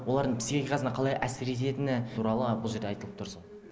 олардың психикасына қалай әсер ететіні туралы бұл жерде айтылып тұр сол